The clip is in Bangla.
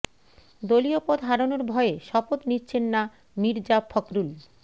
দলীয় পদ হারানোর ভয়ে শপথ নিচ্ছেন না মির্জা ফখরুল